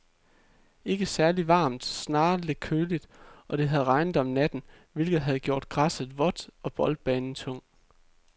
Ikke særligt varmt, snarere lidt køligt, og det havde regnet om natten, hvilket havde gjort græsset vådt og boldbanen tung.